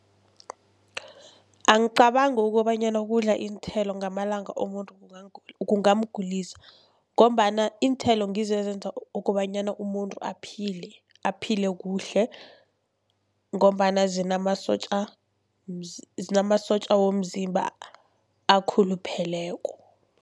Angicabangi kobanyana ukudla iinthelo ngamalanga umuntu kungamgulisa, ngombana iinthelo ngizo ezenza kobanyana umuntu aphile, aphile kuhle ngombana zinamasotja zinamasotja womzimba akhulupheleko.